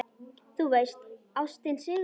Þú veist: Ástin sigrar.